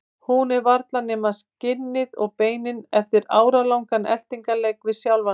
Hún er varla nema skinnið og beinin eftir áralangan eltingarleik við sjálfa sig.